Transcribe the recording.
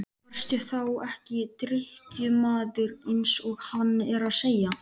Varstu þá ekki drykkjumaður eins og hann er að segja?